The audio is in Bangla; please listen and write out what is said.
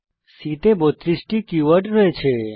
C তে 32 টি কীওয়ার্ড আছে